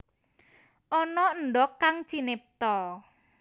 Ana endhog kang cinipta